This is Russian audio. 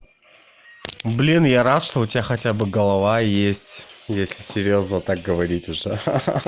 блин я рад что у тебя хотя бы голова есть если серьёзно так говорить уже ха-ха